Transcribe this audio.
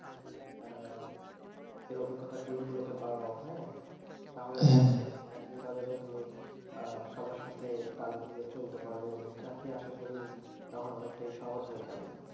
নিজের অভিজ্ঞতাগুলোকে বাড়াও হ্যাঁ তাহলে চাকরির বাজারে তুমি সবার সাথে তাল মিলিয়ে চলতে পারবে চাকরি আশা করি তক্ষণ অনেকটাই সহজ হয়ে যাবে